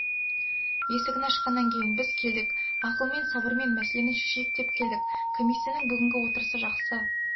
есігін ашқаннан кейін біз келдік ақылмен сабырмен мәселені шешейік деп келдік комиссияның бүгінгі отырысы жақсы